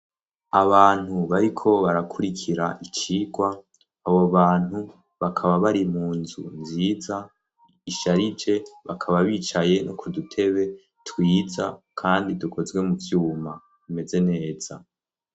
Abantu bariko barakurikira icikwa abo bantu bakaba bari mu nzu nziza isharije bakaba bicaye no kudutebe twiza kandi dukozwe mu cuma imeze neza.